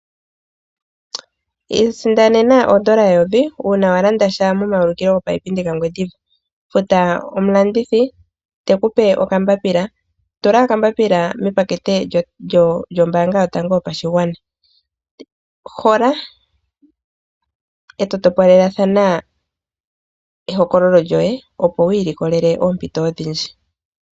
Iisindanena o dollar 1000 una walanda sha momayukilo giipindi gaGwendiva. Futa omu landithi tekupe oka mbapila, tula okambapila mepakete lyombanga yotango yopashigwana, hola eto topolelathana ehokololo lyoye opo wu ilikolele oompito odhindji.